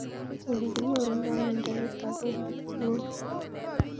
Ole kinyorundoi miondo nitok ko ng'om